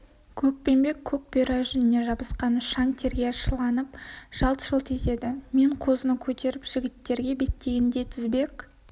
көкпеңбек көк бұйра жүніне жабысқан шаң терге шыланып жылт-жылт етеді мен қозыны көтеріп жігіттерге беттегенде тізбек